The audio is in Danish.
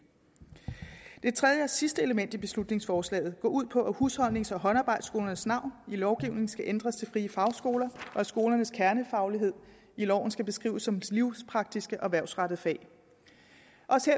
tredje og sidste element i beslutningsforslaget går ud på at husholdnings og håndarbejdsskolernes navn i lovgivningen skal ændres til frie fagskoler og at skolernes kernefaglighed i loven skal beskrives som livspraktiske og erhvervsrettede fag også